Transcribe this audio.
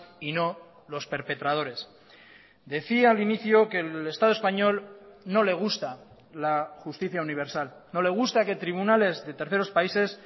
y no los perpetradores decía al inicio que el estado español no le gusta la justicia universal no le gusta que tribunales de terceros países